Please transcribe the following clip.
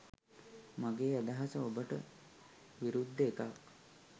මගේ අදහස ඔබට විරුද්ධ එකක්.